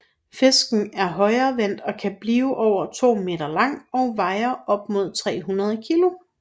Fisken er højrevendt og kan bliver over 2 meter lang og veje op mod 300 kilo